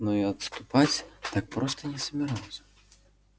но и отступать так просто не собирался